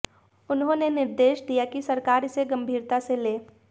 उन्होंने निर्देश दिया कि सरकार इसे गंभीरता से ले